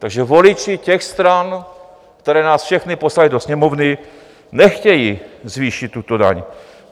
Takže voliči těch stran, které nás všechny poslaly do Sněmovny, nechtějí zvýšit tuto daň.